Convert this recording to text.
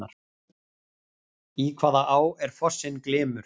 Í hvaða á er fossinn Glymur?